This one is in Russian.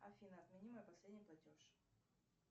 афина отмени мой последний платеж